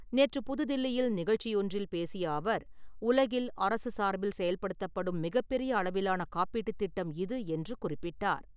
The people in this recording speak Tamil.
நேற்று புதுதில்லியில் நிகழ்ச்சியொன்றில் பேசிய அவர், உலகில் அரசு சார்பில் செய்படுத்தப்படும் மிகப்பெரிய அளவிலான காப்பீட்டு திட்டம் இது என்று குறிப்பிட்டார்.